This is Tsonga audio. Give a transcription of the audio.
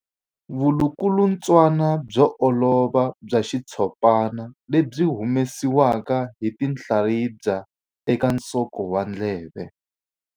Vulukulutswana byo olova bya xitshopana lebyi byi humesiwaka hi tinhlaribya eka nsoko wa ndleve.